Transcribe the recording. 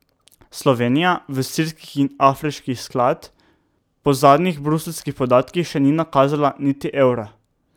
Slovenija v sirski in afriški sklad po zadnjih bruseljskih podatkih še ni nakazala niti evra.